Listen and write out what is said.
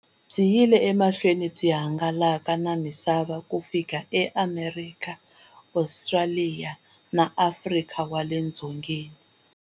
Byi yile emahlweni byi hangalaka na misava ku fika eAmerika, Ostraliya na Afrika wale dzongeni.